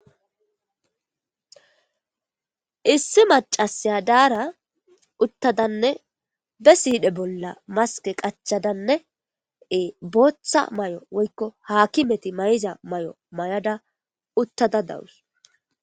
issi macasiya daara uttadanne be siide bolla maske qachadanneee booththa may7o woykko haakimeti may7iza may7o may7ada uttada dawus